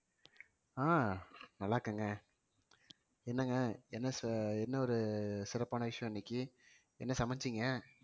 அஹ் நல்லா இருக்கேங்க என்னங்க என்ன சி~ என்ன ஒரு சிறப்பான விஷயம் இன்னைக்கு என்ன சமைச்சீங்க